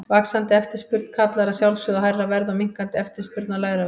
Vaxandi eftirspurn kallar að sjálfsögðu á hærra verð og minnkandi eftirspurn á lægra verð.